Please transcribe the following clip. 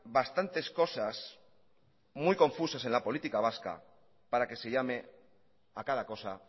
bastantes cosas muy confusas en la política vasca para que se llame a cada cosa